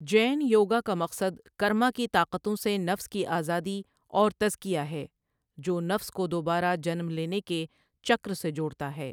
جین یوگا کا مقصد کرما کی طاقتوں سے نفس کی آزادی اور تزکیہ ہے، جو نفس کو دوبارہ جنم لینے کے چکر سے جوڑتا ہے۔